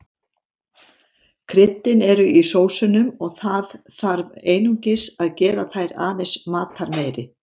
Kryddin eru í sósunum og það þarf einungis að gera þær aðeins matarmeiri.